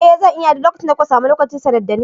Eh zan iya, duk lokacin da kuka samu lokaci sanar dani.